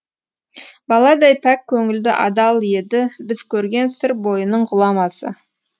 баладай пәк көңілді адал едібіз көрген сыр бойының ғұламасы